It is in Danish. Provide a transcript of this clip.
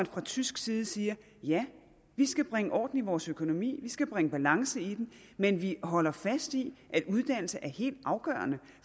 fra tysk side siger ja vi skal bringe orden i vores økonomi vi skal bringe balance i den men vi holder fast i at uddannelse er helt afgørende